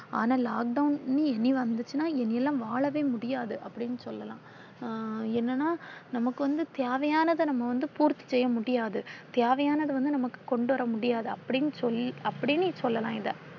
ஆனா lockdown இனி வந்துச்சுனாஇனியெல்லாம் வாழவே முடியாது அப்படின்னு சொல்லலாம். அஹ் என்னன்னா நமக்கு வந்து தேவையானத நாம வந்து பூர்த்தி செய்ய முடியாது. தேவையானது வந்து நமக்கு கொண்டு வர முடியாது அப்படின்னு சொல்லி அப்டினு சொல்லலாம் இத.